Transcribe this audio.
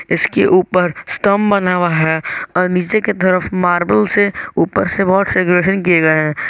इसके ऊपर स्तम्भ बना हुआ है और नीचे की तरफ मार्बल से ऊपर से बहुत किए गए हैं।